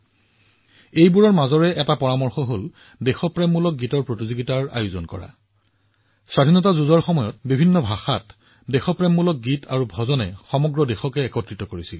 এই পৰামৰ্শবোৰৰ এটা হল দেশপ্ৰেমমূলক গীতৰ সৈতে সম্পৰ্কিত প্ৰতিযোগিতা স্বাধীনতা সংগ্ৰামত বিভিন্ন ভাষা উপভাষা দেশপ্ৰেমমূলক গীত আৰু স্তোত্ৰই সমগ্ৰ দেশক একত্ৰিত কৰিছিল